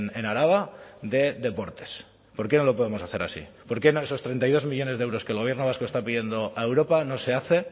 en araba de deportes por qué no lo podemos hacer así por qué no esos treinta y dos millónes de euros que el gobierno vasco está pidiendo a europa no se hace